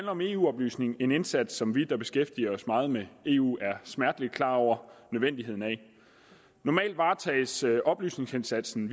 om eu oplysning en indsats som vi der beskæftiger os meget med eu er smerteligt klar over nødvendigheden af normalt varetages oplysningsindsatsen